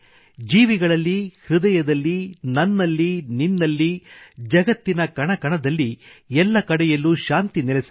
ಜೀವಿಗಳಲ್ಲಿ ಹೃದಯದಲ್ಲಿ ನನ್ನಲ್ಲಿನಿನ್ನಲ್ಲಿ ಜಗತ್ತಿನಕಣಕಣದಲ್ಲಿ ಎಲ್ಲಕಡೆಯಲ್ಲೂ ಶಾಂತಿ ನೆಲೆಸಲಿ